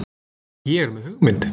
ÉG ER MEÐ HUGMYND.